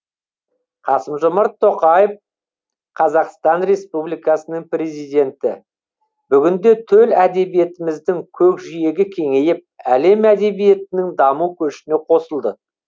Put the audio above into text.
қасым жомарт тоқаев қазақстан республикасының президенті бүгінде төл әдебиетіміздің көкжиегі кеңейіп әлем әдебиетінің даму көшіне қосылды